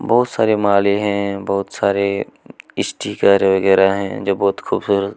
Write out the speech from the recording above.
बहुत सारे माले है बहुत सारे स्टीकर वगैरह है जो बहुत खूबसूरत--